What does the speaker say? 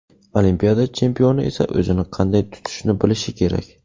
Olimpiada chempioni esa o‘zini qanday tutishni bilishi kerak.